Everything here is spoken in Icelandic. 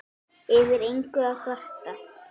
Yfir engu að kvarta.